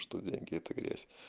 что деньги это грязь